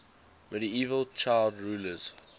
medieval child rulers